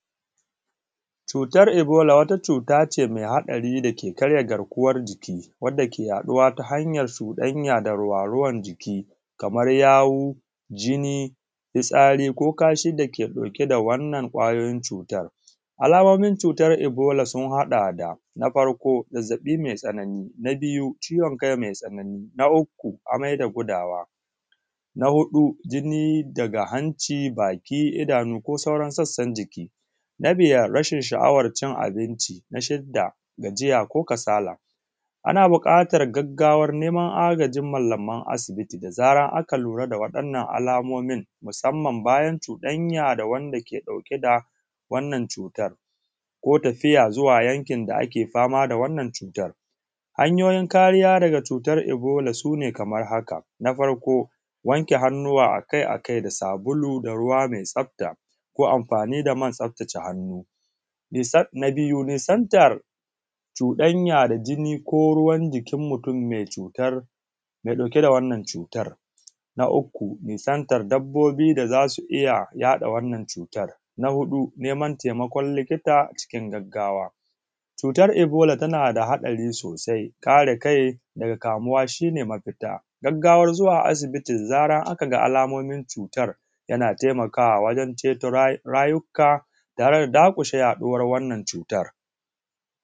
cutar ibola wata cuta ce mai haɗari dake karya garkuwar jiki wadda ke ya ɗuwa ta hanyar cuɗanya da ruwa-ruwan jiki kamar yawu jini fitsari ko kashi dake ɗauke da wannan kwayoyin cutar alamomin cutar ibola sun haɗa da na farko zazzaɓi mai tsanani na biyu cuwon kai mai tsanani na uku amai da gudawa na huɗu da jini daga hanci baki cikin idanu ko sauran sassan jiki na biyar rashin sha’awar cin abinci na shida gajiya ko kasala ana buƙatar gaggawan neman mallaman asibiti da zarar an lura da waɗannan alamomin musamman bayan cuɗanya da wanda ke ɗauke da wannan cutar ko tafiya yankin da ake fama da wannan cutar hanyoyi kariya daga cutar ibola sune kamar haka na farko wanke hannu akai akai sabulu da ruwa mai tsafta ko amfanin da man tsafta ce hannu na biyu nisantar cuɗania da jini mutum mai cutar mai ɗauke da wannan cutar na uku nisantar dabbobi da za su iya yaɗa wannan cutar na huɗu neman taimakon likita cikin gaggawa cutar ibola tana da haɗari sosai kare kai daga kamuwa shine mafita gaggawan zuwa asibiti idan aka ga alamomin cutar yana taimakawa wajen ceto rayukka tare da dakushe yaɗuwan wannan cutar